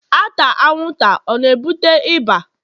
ata anwụnta ọ na-ebute ịba?